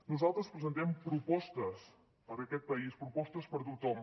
nosaltres presentem propostes per a aquest país propostes per a tothom